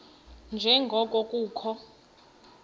nje ngoko kukho